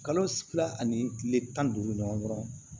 Kalo fila ani kile tan ni duuru ɲɔgɔn dɔrɔn